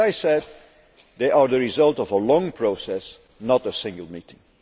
As I said, they are the result of a long process, not a single meeting.